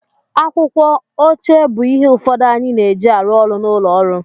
Akwụkwọ, oche bụ ihe ụfọdụ anyị na-eji arụ ọrụ n'ụlọ ọrụ